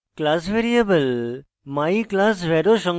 class variable myclassvar ও সংজ্ঞায়িত করে